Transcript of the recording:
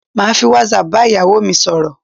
Màá fi whatsapp bá ìyàwó mi sọ̀rọ̀